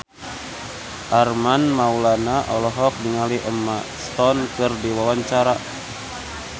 Armand Maulana olohok ningali Emma Stone keur diwawancara